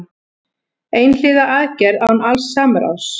Einhliða aðgerð án alls samráðs